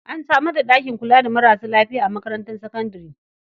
An samar da ɗakin kula da marasa lafiya a makarantar sakandare.